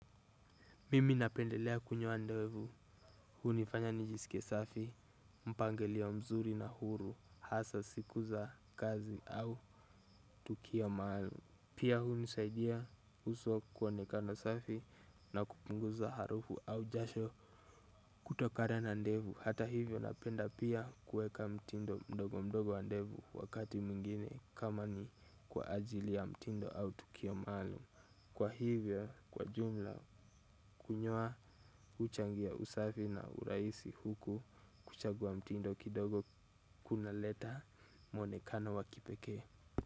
Mimi napendelea kunyoa ndevu, hunifanya nijisike safi, mpangilio mzuri na huru, hasa siku za kazi au tukio maalum. Pia hunisaidia uso kuonekana safi na kupunguza harufu au jasho kutokana na ndevu. Hata hivyo napenda pia kueka mtindo mdogo mdogo wa ndevu wakati mwingine kama ni kwa ajili ya mtindo au tukio maalum. Kwa hivyo kwa jumla kunyoa huchangia usafi na urahisi huku kuchagua mtindo kidogo kuna leta monekano wa kipeke.